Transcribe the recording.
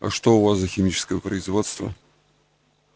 а что у вас за химическое производство